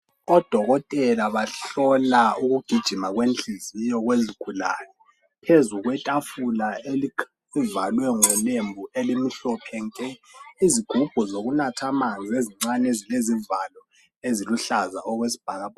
Odokotela bahlola ukugijima kwenhliziyo yezigulane. Phezu kwetafula okuvalwe ngolembu elimhlophe nke. Izigubhu zokunatha amanzi ezincane ezilezivalo eziluhlaza okwesibhakabhaka .